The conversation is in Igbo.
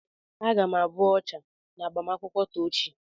Aga m abụ ọchà n'agbamakwụkwọ Tochi.